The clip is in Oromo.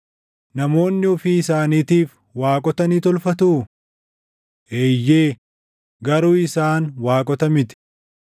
Namoonni ofii isaaniitiif waaqota ni tolfatuu? Eeyyee, garuu isaan waaqota miti!”